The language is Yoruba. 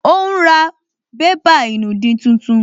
Ó ún ra bébà ìnùdí tuntun